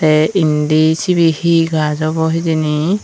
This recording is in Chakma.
te indi cibi he gaj obo hijeni.